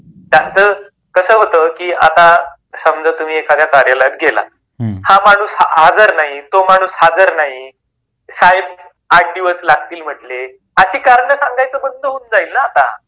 त्याच कसा होत की आता समजा तुम्ही एखाद्या कार्यालयात गेला हा माणुस हजर नाही तो माणुस हजर नाही, साहेब आठ दिवस लागतील म्हटले असे कारण सांगायचं बंद जाईल ना आता.